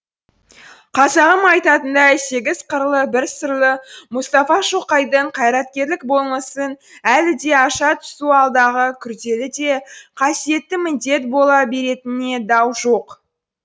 қазағым айтатындай сегіз қырлы бір сырлы мұстафа шоқайдың қайраткерлік болмысын әлі де аша түсу алдағы күрделі де қасиетті міндет бола беретініне дау жоқ